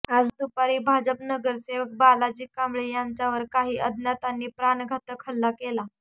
आज दुपारी भाजप नगरसेवक बालाजी कांबळे यांच्यावर काही अज्ञातांनी प्राणघातक हल्ला केला